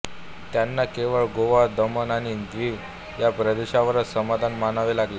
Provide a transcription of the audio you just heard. त्यांना केवळ गोवा दमण आणि दीव या प्रदेशावरच समाधान मानावे लागले